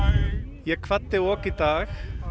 ég kvaddi ok í dag